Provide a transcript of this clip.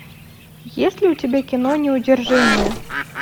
есть ли у тебя кино неудержимые